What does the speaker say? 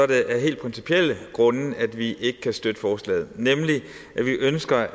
det er af helt principielle grunde vi ikke kan støtte forslaget vi ønsker